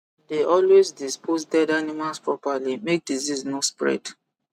dey always dispose dead animals properly make disease no spread